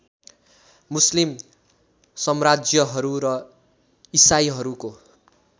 मुस्लिम सम्राज्यहरू र इसाईहरूको